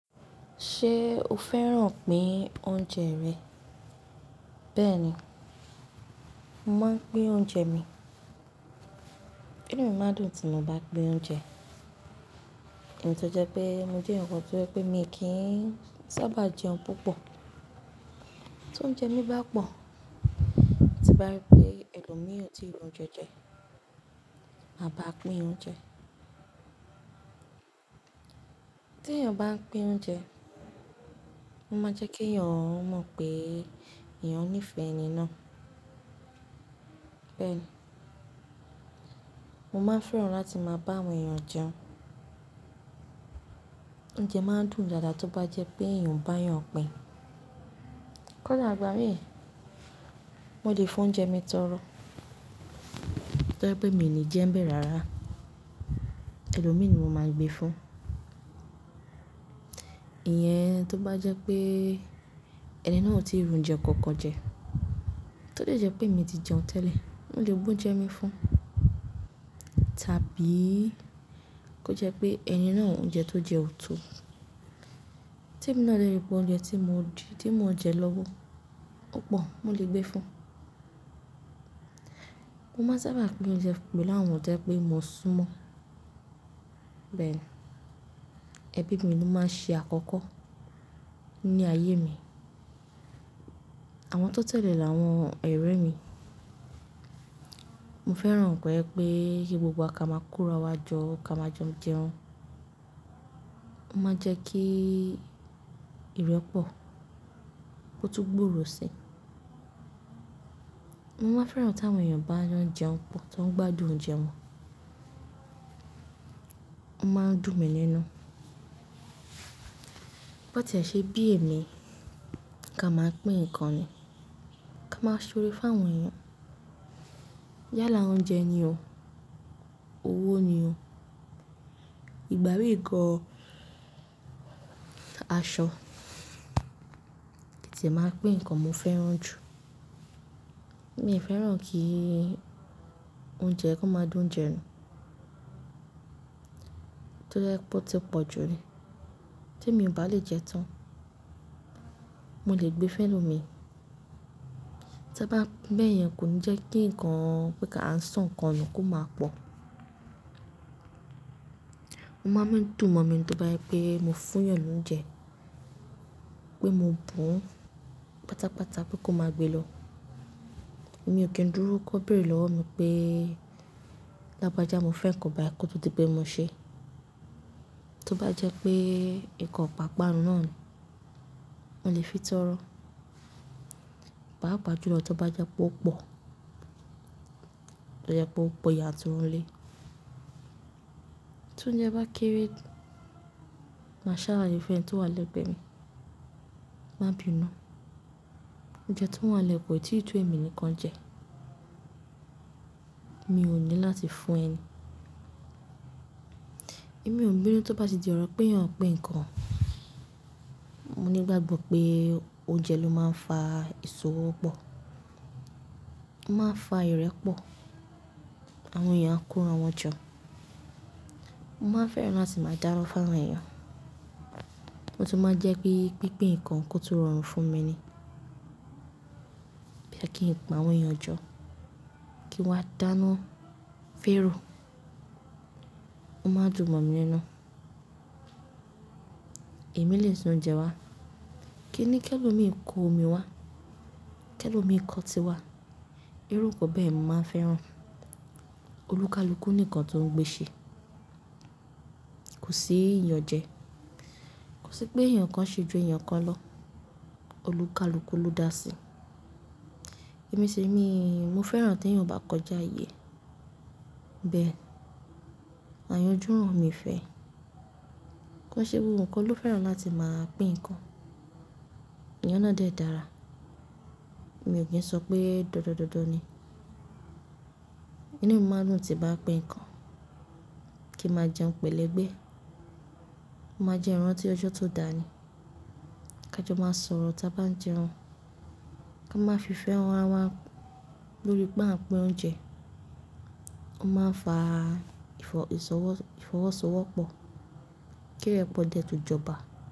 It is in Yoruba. Ṣé o fẹ́ràn pín oúnjẹ rẹ̀? Bẹ́ẹ̀ni, mo máa ń pín oúnjẹ mi. Inú mi máa dùn tí mo bá pín oúnjẹ. Èyí tó jẹ pé mo jẹ́ ǹkan tó jẹ pé mi kì í sábà jẹun púpọ̀. Tóúnjẹ mi bá pọ̀, tí bá rí pé ẹlòmíràn tí irun jẹ jẹ, màá bá a pín oúnjẹ. Tí èèyàn bá ń pín oúnjẹ, ó máa jẹ́ kí èèyàn mọ̀ pé eeyan nífẹ̀ẹ́ ẹni náà. Bẹ́ẹ̀ni, mo máa fẹ́ràn láti máa bá àwọn èèyàn jẹun. Oúnjẹ máa ń dùn dáadáa tó bá jẹ́ pé èèyàn bá yàn pín. Kọ́ dà igbà mí, mo lè fi oúnjẹ mi tọrọ, tó jẹ́ pé mi ò ní jẹ́ ń bẹ̀ rárá, ẹlòmí ni mo máa gbé fún. Ìyẹn tó bá jẹ́ pé ẹni náà ò tí ri oúnjẹ kankan jẹ, tó jẹ́ pé emi ti jẹun tẹ́lẹ̀, mo lè gbé oúnjẹ mi fún. Tàbí kó jẹ́ pé ẹni náà, oúnjẹ tó jẹ ò tó, tí èmi náà dè rí pé oúnjẹ tí mo je, tí mo n jẹ lọ́wọ́ o pọ̀, mo lè gbé fún. Mo máa sábà pín oúnjẹ pẹ̀lú àwọn tó jẹ́ pé mo sún mọ́. Bẹ́ẹ̀ni, ẹbí mi ló máa ń ṣe àkọ́kọ́ ní ayé mi. Àwọn tó tẹ̀lé làwọn ọ̀rẹ́ mi. Mo fẹ́ràn koje pẹ̀ kí gbogbo wa ka máa kora wa jọ, ka máa jo jẹun. Ó máa ń jẹ́ kí ìrẹ́pọ̀, kó tún gbòòrò sí. Mo wá fẹ́ràn tí àwọn èèyàn bá jo jẹun pọ̀, tó ń gbádùn oúnjẹ wọn. Ó máa ń dùn mi nínú. Bó ti e ṣe bí èmi ka máa pín ǹkan ni, kí a máa ṣọrẹ fún àwọn èèyàn. Yálà oúnjẹ ni o. Owó ni o. Ìgbàmí gan, aṣọ, kin tiẹ máa ń pín ǹkan mo fẹ́ràn jù. Mi fẹ́ràn kí oúnjẹ kó máa da oùnjẹ nu. Tó jẹ́ pé ó ti pọ̀ jù ni, tí èmi ò bá lè jẹ́ tán, mo lè gbé fún ẹlòmíi. Tí a bá ń bẹ́ẹ̀ yẹn kò ń jẹ́ kí ǹkan pé kí a ń sọ́ ǹkan nù kó máa pọ̀. O máa ń dùn mọ́ mi tó bá jẹ pé mo fún èèyàn lóúnjẹ, pé mo bù ún pátápátá pé kó máa gbé lọ. Èmi ò kí ń dúró kó béèrè lọ́wọ́ mi pé lágbájá mo fẹ́ ǹkan báyìí kó tó di pé mo ṣe. Tó bá jẹ́ pé ǹkan pàápàá náà ni, mo lè fi tọrọ. Pa pa ju lọ tó bá jẹ́ pé ó pọ̀, tó jẹ́ pé ó pọ̀ yanturu lé. Tóúnjẹ bá kéré, màá salaye fún ẹni tó wà lẹ́gbẹ̀ẹ́ mi, màbinú. Oúnjẹ tí o wà nilẹ́ ko, ití to èmi nìkan jẹ, mi ò ní láti fún ẹni. Èmi ò ń binu tó bá ti di ọ̀rọ̀ pé èèyàn ń pín ǹkan. Mo ní ìgbàgbọ́ pé oúnjẹ ló máa ń fa ìṣòwò pọ̀. Ó máa ń fa ìrẹ́ pọ̀. Àwọn èèyàn ako ira wọn jọ. Mo máa ń fẹ́ràn láti máa dáná fún àwọn èèyàn. Mo tún máa ń jẹ́ pé pípín ǹkan kó tún rọrùn fún mi ni. Bóyá kí n pe àwọn èèyàn jọ, kí wá dáná, fẹ́ ro. Ó máa dùn mọ́ mi nínú. Èmi lè se oúnjẹ wá. Kí ni kí ẹlòmíràn kó omi wá? Kí ni kí ẹlòmíràn kọ ti wá? Irú ǹkan bẹ́yẹ̀n ni mo máa ń fẹ́ràn. Olúkalúkù ni ǹkan tó ń gbéṣẹ. Kò sí iyàn jẹ. Kò sí pé èèyàn kan ṣe ju èèyàn kan lọ. Olúkalúkù ló dá sí. Emi sire mi mo fẹ́ràn tí èèyàn o bá kọjá ààyè. Bẹ́ẹ̀ni, àyànjú ràn mí fẹ́. Kó ṣe gbogbo ǹkan ló fẹ́ràn láti máa pín ǹkan. Ìyẹn náà dẹ́ dára. Èmi ò kí ń sọ pé dandan dandan ni. Inú mi máa ń dùn tí bá pín ǹkan. Kí a máa jẹun pẹ̀lẹ́ gbẹ́. Ó máa ń jẹ́ ń rantí ọjọ́ tó da ni. Kí a jọ máa sọ̀rọ̀ tí a bá ń jẹun. Kí a máa fi ìfẹ́ hàn ara wa lórí pé à ń pín oúnjẹ. Ó máa ń fa ìfọwọ́sowọ́pọ̀. Kí ìrẹ́ pọ̀ dẹ tun jọba.